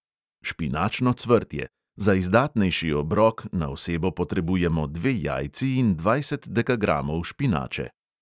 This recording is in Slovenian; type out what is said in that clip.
Špinačno cvrtje: za izdatnejši obrok na osebo potrebujemo dve jajci in dvajset dekagramov špinače.